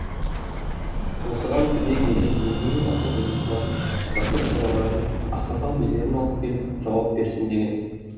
осыған түбек елі өзінің ақын жазушыларын батыр шораларын ақсақал билерін алып келіп жауап берсін деген